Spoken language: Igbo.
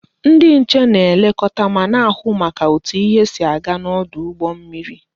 Ndi nche na-elekota ma na-ahu maka otu ihe si aga n'odu ugbo mmiri